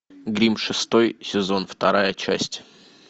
гримм шестой сезон вторая часть